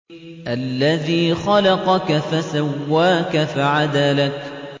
الَّذِي خَلَقَكَ فَسَوَّاكَ فَعَدَلَكَ